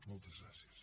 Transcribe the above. moltes gràcies